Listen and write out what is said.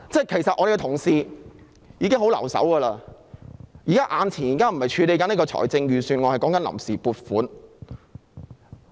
其實我們的同事已手下留情，現在眼前處理的並非預算案，而是臨時撥款。